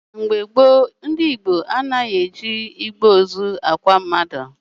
Na mgbe gboo, ndị Igbo anaghị eji igbe ozu akwa mmadụ.